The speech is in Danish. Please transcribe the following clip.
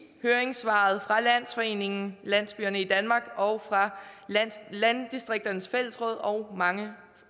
høringssvaret fra landsforeningen landsbyerne i danmark og fra landdistrikternes fællesråd og mange